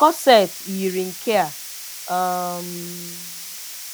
Corset yiri nke a. um